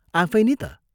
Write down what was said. आफै नि ता?